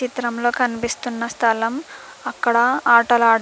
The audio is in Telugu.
చిత్రంలో కనిపిస్తున్న స్థలం అక్కడ ఆటలాడ్ --